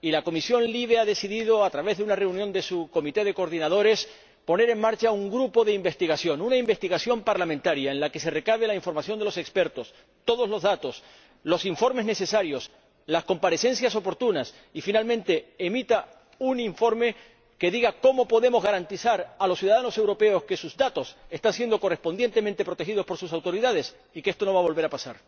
La Comisión LIBE ha decidido, a través de una reunión de su comité de coordinadores, poner en marcha un grupo de investigación, una investigación parlamentaria en la que se recabe la información de los expertos, todos los datos y los informes necesarios, se organicen las comparecencias oportunas y finalmente se emita un informe que diga cómo podemos garantizar a los ciudadanos europeos que sus datos están siendo correctamente protegidos por sus autoridades y que esto no va a volver a pasar.